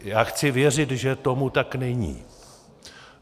Já chci věřit, že tomu tak není.